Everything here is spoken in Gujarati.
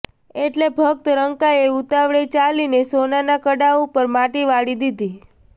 એટલે ભક્ત રંકાએ ઉતાવળે ચાલીને સોનાના કડા ઉપર માટીવાળી દીધી